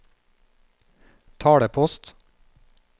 talepost